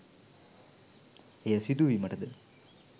එය සිදුවීමටද